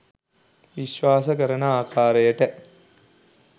විශ්වාස කරන ආකාරයට